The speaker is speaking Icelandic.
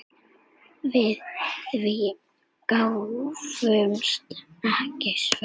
Við því gáfust engin svör.